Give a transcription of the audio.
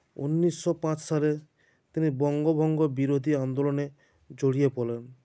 উনিশো পাঁচ সালে তিনি বঙ্গভঙ্গ বিরোধী আন্দোলনে জড়িয়ে পড়েন